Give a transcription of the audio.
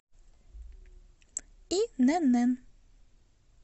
инн